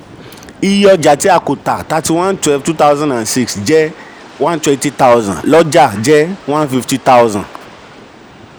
iye ọjà tí a kò tà 31/12/2006 jẹ́ 120000; lọ́jà jẹ́ 150000.